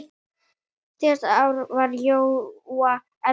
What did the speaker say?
Síðasta ár var Jóa erfitt.